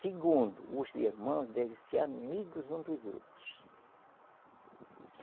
Segundo, os irmãos devem ser amigos um dos outros.